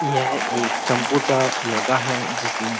यह एक चम्पू सा लड़का है। जिसने --